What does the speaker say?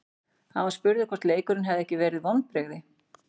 Hann var spurður hvort leikurinn hefði ekki verið vonbrigði.